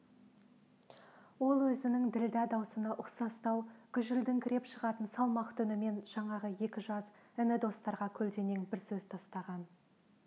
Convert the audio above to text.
ол өзінің ділдә даусына ұқсастау гүжілдеңкіреп шығатын салмақты үнімен жаңағы екі жас іні-достарға көлденең бір сөз тастаған